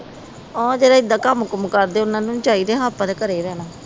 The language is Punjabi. ਉਹ ਜਿਹੜਾ ਏਦਾਂ ਕੰਮ ਕੁਮ ਕਰਦੇ ਉਹਨਾਂ ਨੂੰ ਨਹੀਂ ਚਾਹੀਦੇ ਹਾਂ ਆਪਾ ਤੇ ਘਰੇ ਰਹਿਣਾ